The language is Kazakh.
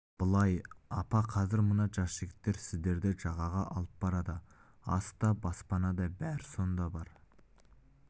былай апа қазір мына жігіттер сіздерді жағаға алып барады ас та баспана да бәрі сонда бар